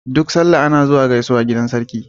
Duk sallah ana zuwa gaisuwa gidan sarki.